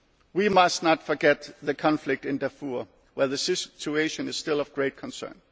dialogue. We must not forget the conflict in Darfur, where the situation is still of great